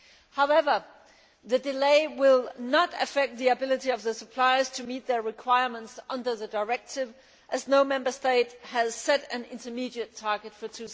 However, the delay will not affect the ability of suppliers to meet their requirements under the directive, as no Member State has set an intermediate target for